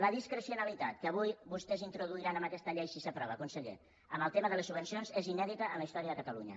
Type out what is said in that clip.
la discrecionalitat que avui vostès introduiran amb aquesta llei si s’aprova conseller en el tema de les subvencions és inèdita en la història de catalunya